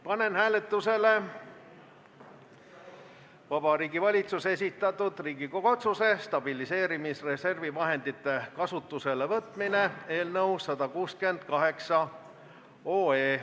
Panen hääletusele Vabariigi Valitsuse esitatud Riigikogu otsuse "Stabiliseerimisreservi vahendite kasutusele võtmine" eelnõu 168.